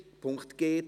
Punkt g